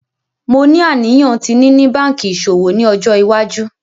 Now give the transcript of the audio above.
Mo ni aniyan ti nini banki iṣowo ni ọjọ iwaju.